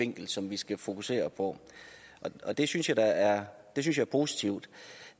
vinkel som vi skal fokusere på det synes jeg er positivt